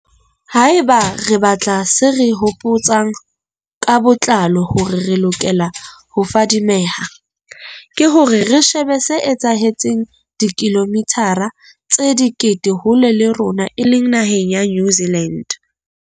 Haeba re batla se re hopo tsang ka botlalo hore re lokele ho fadimeha, ke hore re shebe se etsahetseng dikilomithara tse dikete hole le rona e leng naheng ya New Zealand.